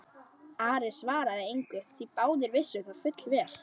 Ari svaraði engu því báðir vissu það fullvel.